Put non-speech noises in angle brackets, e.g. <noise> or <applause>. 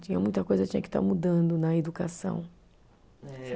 Tinha muita coisa que tinha que estar mudando na educação. <unintelligible>